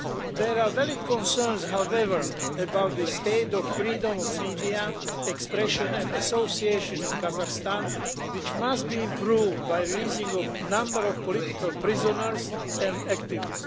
There are valid concerns, however, about the state of freedom of media, expression and association in Kazakhstan, which must be improved by releasing a number of political prisoners and activists.